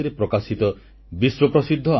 ଏହାଯୋଗୁଁ ଏକତା ପାଇଁ ଦୌଡ଼ର ଉତ୍ସାହ ମଧ୍ୟ ବୃଦ୍ଧି ପାଇବ